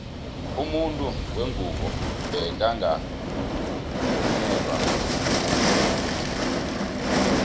umuntu wengubo bekangaka vungelwa ifundo